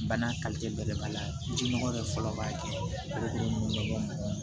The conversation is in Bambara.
Bana belebeleba la jinɔgɔ bɛ fɔlɔ baga kɛ nɔgɔ